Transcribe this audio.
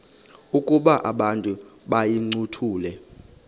ukuba abantu bayincothule